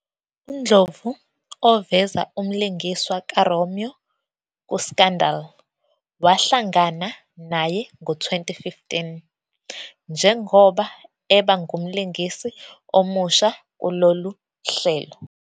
UNdlovu, oveza umlingiswa kaRomeo "kuScandal!", wahlangana naye ngo-2015 njengoba eba ngumlingisi omusha kulolu hlelo.